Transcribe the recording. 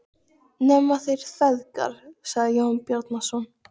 Nema þeir feðgar, sagði Jón Bjarnason.